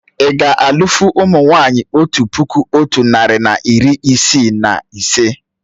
Ì ga alụ́fụ̀ ụmụ nwaanyị otu puku otu narị na iri isii na ise?